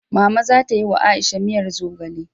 Mama za ta yi wa Aisha miyar zogale.